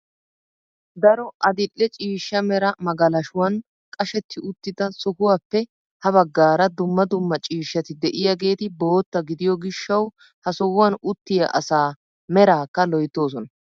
Daro adil"e ciishsha mera magalashuwaan qashetti uttida sohuwappe ha baggaara dumma dumma ciishshati de'iyaageeti bootta gidiyo gishshawu ha sohuwaan uttiyaa asaa meraakka loyttoosona.